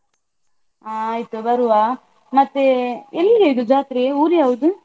ಹಾ ಆಯ್ತು ಬರುವ. ಮತ್ತೆ ಎಲ್ಲಿಯ ಇದು ಜಾತ್ರೆ? ಊರು ಯಾವುದು?